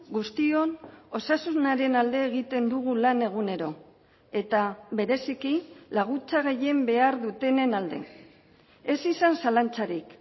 guztion osasunaren alde egiten dugu lan egunero eta bereziki laguntza gehien behar dutenen alde ez izan zalantzarik